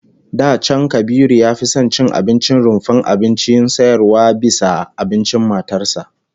Da can Kabiru ya fi son ya ci abincin rumfar abincin sayarwa bisa abincin matar sa